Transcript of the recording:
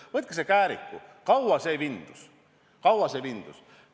Võtke kas või Kääriku ja vaadake, kui kaua see vindus.